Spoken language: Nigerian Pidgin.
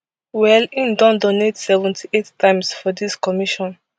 well im don donate seventy-eight times for dis commission